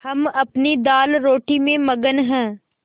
हम अपनी दालरोटी में मगन हैं